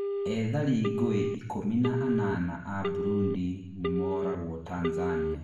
ethari ngũĩ ikũmi na anana a Burundi nimoragwo Tanzania